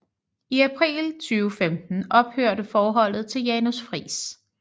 I april 2015 ophørte forholdet til Janus Friis